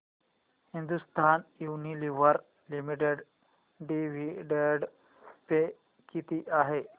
Hindustan Unilever limited dividend pay किती आहे